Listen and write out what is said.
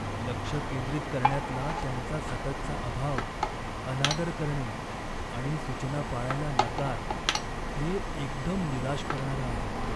लक्ष केंद्रित करण्यातला त्यांचा सततचा अभाव, अनादर करणे आणि सूचना पाळायला नकार हे एकदम निराश करणारं आहे.